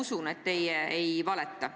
Ma usun, et teie ei valeta.